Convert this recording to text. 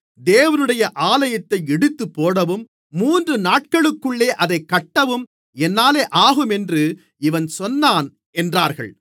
தேவனுடைய ஆலயத்தை இடித்துப்போடவும் மூன்று நாட்களுக்குள்ளே அதைக் கட்டவும் என்னாலே ஆகும் என்று இவன் சொன்னான் என்றார்கள்